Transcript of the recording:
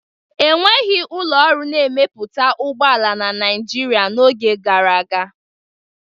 Enweghị ụlọ ọrụ na-emepụta ụgbọ ala na Nigeria n'oge gara aga